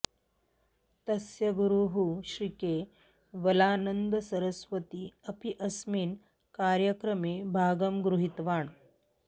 तस्य गुरुः श्रीकेवलानन्दसरस्वती अपि अस्मिन् कार्यक्रमे भागम् गृहीतवान्